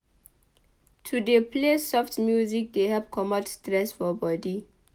To dey play soft music dey help comot stress for bodi.